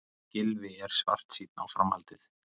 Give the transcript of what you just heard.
Gylfi er svartsýnn á framhaldið